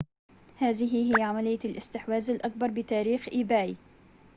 هذه هي عملية الاستحواذ الأكبر بتاريخ إيباي